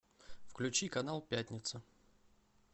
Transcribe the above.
включи канал пятница